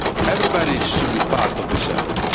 Everybody should be part of this effort.